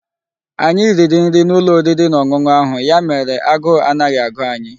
Anyi riri nri n'ulo oriri na onunu ahu, ya mere aguu anaghi agu anyi